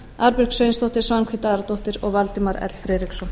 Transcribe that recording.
arnbjörg sveinsdóttir svanhvít aradóttir valdimar l friðriksson